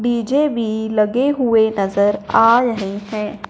DJ बी लगे हुए नजर आ रहे हैं।